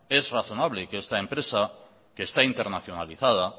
es razonable que esta empresa que está internacionalizada